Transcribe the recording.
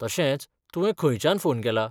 तशेंच, तुवें खंयच्यान फोन केला?